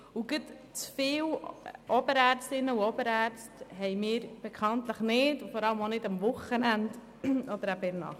Wir haben bekanntlich nicht zu viele Oberärztinnen und Oberärzte, vor allem nicht an den Wochenenden oder nachts.